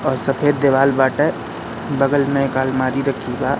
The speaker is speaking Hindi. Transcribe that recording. और सफेद दिवाल बाटे बगल में एक आलमारी रखी बा --